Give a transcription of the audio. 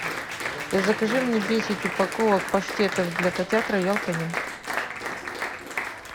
закажи мне десять упаковок паштетов для котят роял канин